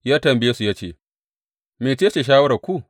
Ya tambaye su ya ce, Mece ce shawararku?